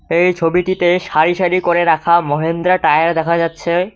এই ছবিটিতে সারি সারি করে রাখা মহেন্দ্রা টায়ার দেখা যাচ্ছে।